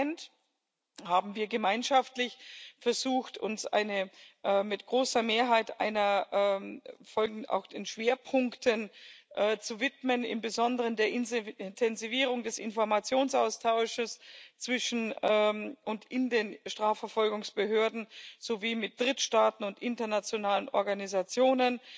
Als Parlament haben wir gemeinschaftlich versucht, uns mit großer Mehrheit den Schwerpunkten zu widmen, im Besonderen der Intensivierung des Informationsaustausches zwischen und in den Strafverfolgungsbehörden sowie mit Drittstaaten und internationalen Organisationen.